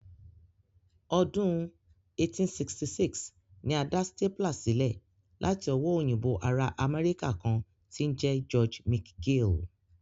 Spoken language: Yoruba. Ọdún 1866 ni a dá stapler sílẹ̀ láti owó òyìnbó ará Amẹ́ríkà kan tí ń jẹ́ George McGill